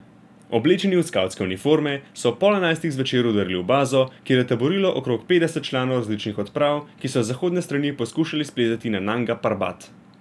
Oblečeni v skavtske uniforme so ob pol enajstih zvečer vdrli v bazo, kjer je taborilo okrog petdeset članov različnih odprav, ki so z zahodne strani poskušali splezati na Nanga Parbat.